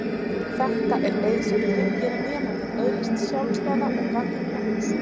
Þetta er leið sem tryggir að nemandinn öðlist sjálfstæða og gagnrýna hugsun.